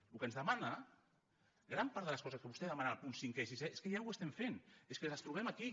el que ens demana gran part de les coses que vostè demana als punts cinquè i sisè és que ja ho estem fent és que les trobem aquí